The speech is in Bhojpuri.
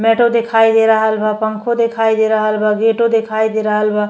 मैटाे दिखाई दे रहल बा। पंखो दिखाई दे रहल बा। गेटाे दिखाई दे रहल बा।